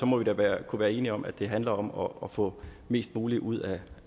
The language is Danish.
må vi da kunne være enige om at det handler om om at få mest muligt ud af